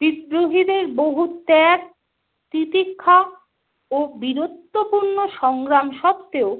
বিদ্রোহীদের বহু ত্যাগ তিতিক্ষা ও বীরত্বপূর্ণ সংগ্রাম সত্বেও